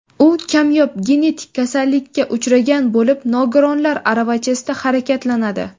U kamyob genetik kasallikka uchragan bo‘lib, nogironlar aravachasida harakatlanadi.